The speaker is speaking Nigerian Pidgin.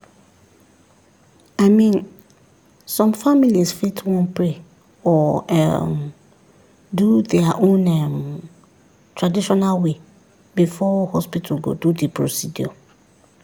i mean some families fit wan pray or um do their own um traditional way before hospital go do the procedure.